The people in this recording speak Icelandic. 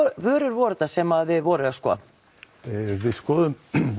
vörur voru þetta sem þið skoðuðuð við skoðuðum